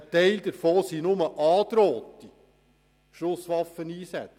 Ein Teil davon ist nur angedrohter Schusswaffeneinsatz;